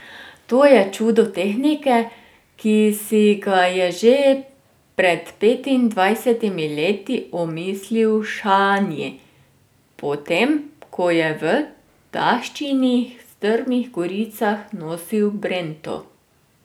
To je čudo tehnike, ki si ga je že pred petindvajsetimi leti omislil Šanji potem, ko je v taščinih strmih goricah nosil brento.